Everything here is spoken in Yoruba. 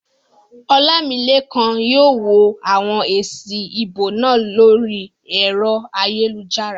Olamilekan yóò wo àwọn èsì ìbò náà lórí ẹ̀rọ ayélujára